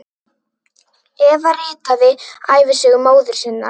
Eva ritaði ævisögu móður sinnar.